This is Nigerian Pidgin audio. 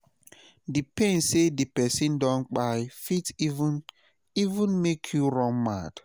d pain sey di pesin don kpai fit even even make yu run mad